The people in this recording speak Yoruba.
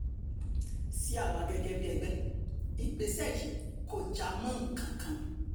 sí àwa gẹ́gẹ́ bíi ẹgbẹ́ ìgbésẹ̀ yìí kò já mọ́ nǹkan kan